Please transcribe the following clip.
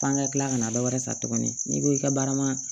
F'an ka kila ka na dɔ wɛrɛ ta tuguni n'i ko i ka baara ma